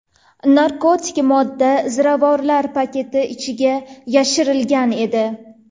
Narkotik modda ziravorlar paketi ichiga yashirilgan edi.